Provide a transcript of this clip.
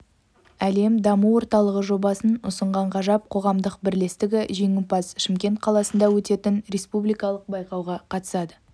әлем даму орталығы жобасын ұсынған ғажап қоғамдық бірлестігі жеңімпаз шымкент қаласында өтетін республикалық байқауға қатысады